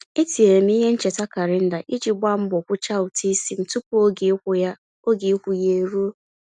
E tinyere m ihe ncheta kalenda iji gba mbọ kwucha ụtụisi m tụpụ oge ịkwụ ya oge ịkwụ ya e ruo.